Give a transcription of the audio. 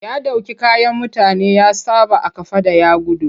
Ya ɗauki kayan mutane ya saɓa a kafaɗa ya gudu.